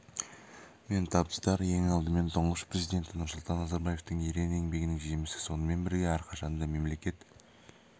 мен табыстар ең алдымен тұңғыш президенті нұрсұлтан назарбаевтың ерен еңбегінің жемісі сонымен бірге әрқашанда мемлекет